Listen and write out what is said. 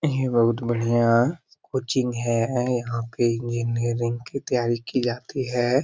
ये बहुत बढ़िया कोचिंग है ऐं यहाँ पे इंजीनियरिंग की तैयारी की जाती है।